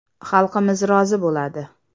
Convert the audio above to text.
Xalqimiz rozi bo‘ladi.